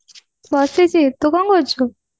ବସିଛି ତୁ କଣ କରୁଛୁ